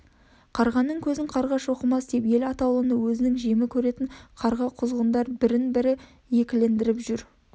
қарғаның көзін қарға шоқымас деп ел атаулыны өзінің жемі көретін қарға-құзғындар бірін-бірі екілендіріп жүр